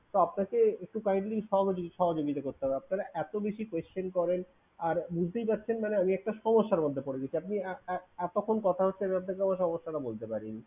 তো আপনাকে একটু kindly সহ~ সহযোগিতা করতে হবে। আপনারা এতো বেশি question করেন। আর বুঝতেই পারছেন মানে আমি একটা সমস্যার মধ্যে পরে গেছি। আপনি আহ আহ এতক্ষন কথা হচ্ছে যাতে করে সমস্যাটা বলতে পারিনি।